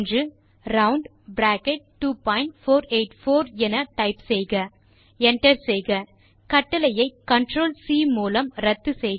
ரவுண்ட்2484 என டைப் செய்க என்டர் செய்க கட்டளையை ctrl சி மூலம் இரத்து செய்க